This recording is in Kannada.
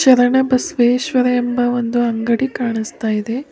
ಶರಣ ಬಸವೇಶ್ವರ ಎಂಬ ಒಂದು ಅಂಗಡಿ ಕಾಣಸ್ತಾಇದೆ.